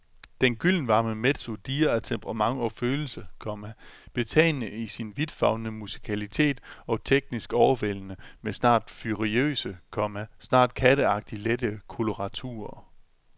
Den gyldenvarme mezzo dirrer af temperament og følelse, komma betagende i sin vidtfavnende musikalitet og teknisk overvældende med snart furiøse, komma snart katteagtigt lette koloraturer. punktum